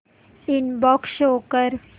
inbox show कर